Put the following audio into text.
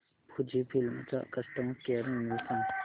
Fujifilm चा customer care email सांगा